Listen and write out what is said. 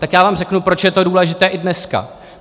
Tak já vám řeknu, proč je to důležité i dneska.